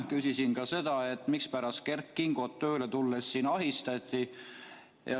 Küsisin ka seda, mispärast Kert Kingot tööle tulles ahistati.